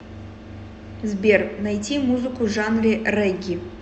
сбер найти музыку в жанре регги